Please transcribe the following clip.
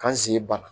K'an sigi bana